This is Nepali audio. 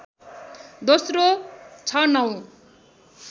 दोस्रो ६९